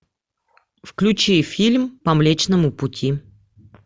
включи фильм по млечному пути